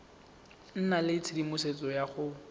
nna le tshedimosetso ya go